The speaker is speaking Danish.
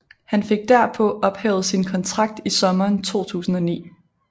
Han fik derpå ophævet sin kontrakt i sommeren 2009